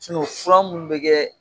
minnu bɛ kɛ